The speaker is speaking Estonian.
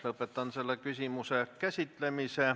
Lõpetan selle küsimuse käsitlemise.